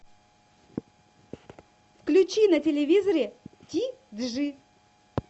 включи на телевизоре ти джи